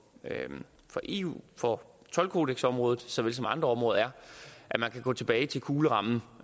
for eu for toldkodeksområdet såvel som andre områder er at man kan gå tilbage til kuglerammen